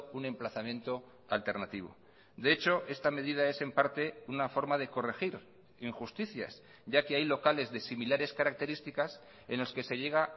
un emplazamiento alternativo de hecho esta medida es en parte una forma de corregir injusticias ya que hay locales de similares características en los que se llega